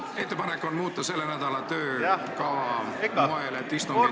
Ettepanek on muuta selle nädala töökava moel, et istungid toimuksid ...